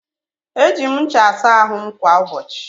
Eji m ncha asa ahụ m kwa ụbọchị.